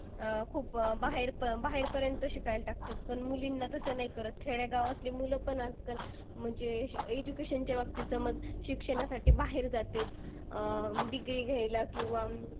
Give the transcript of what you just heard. अह खूप बाहेर बाहेरपर्यंत शिकायला टाकतात. पण मुलींना तसं नाही करत. खेड्यागावातली मुलं पण आजकाल म्हणजे अह education च्या बाबतीत समज शिक्षणासाठी बाहेर जातेत. अं degree घ्यायला किंवा